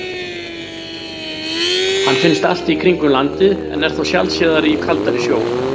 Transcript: Hann finnst allt í kringum landið en er þó sjaldséðari í kaldari sjó.